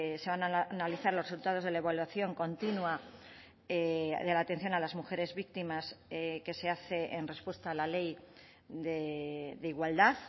se van a analizar los resultados de la evaluación continua de la atención a las mujeres víctimas que se hace en respuesta a la ley de igualdad